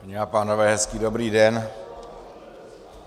Paní a pánové, hezký dobrý den.